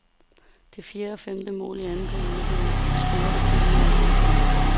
Det fjerde og femte mål i anden periode blev scoret, da klubben var i overtal.